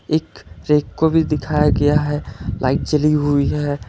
एक रैक को भी दिखाया गया है लाइट जली हुई है।